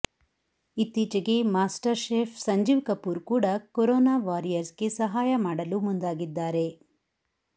ಇತ್ತೀಚೆಗೆ master chef Sanjeev Kapoor ಕೂಡ corona warriors ಗೆ ಸಹಾಯ ಮಾಡಲು ಮುಂದಾಗಿದ್ದಾರೆ